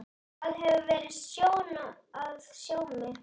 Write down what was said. Það hefur verið sjón að sjá mig.